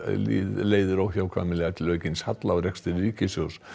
leiðir óhjákvæmilega til aukins halla á rekstri ríkissjóðs